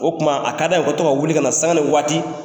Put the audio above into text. O tuma a ka d'an ye u ka to ka wuli ka na sanga ni waati.